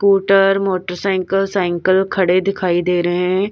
Scooter motorcycle cycle खड़े दिखाई दे रहे हैं।